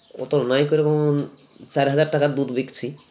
অতো নাই করে বলুন চার হাজার টাকার দুধ বিকছি